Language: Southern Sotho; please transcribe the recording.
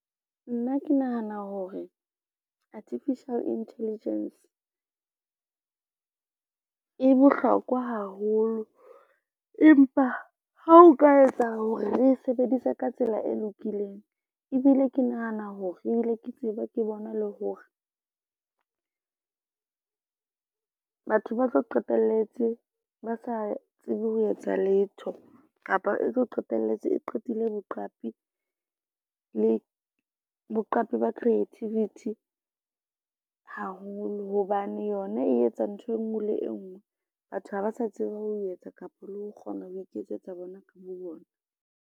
Nna ke nahana hore Artificial Intelligence, e bohlokwa haholo empa ha o ka etsa hore re sebedise ka tsela e lokileng, ebile ke nahana hore ebile ke tseba ke bona le hore batho ba tlo qetelletse ba sa tsebe ho etsa letho. Kapa e tlo qetelletse e qetile le boqapi ba creativity haholo hobane yona e etsa ntho e ngwe le e ngwe. Batho ha ba sa tseba ho etsa kapa le ho kgona ho iketsetsa bona ka bo bona.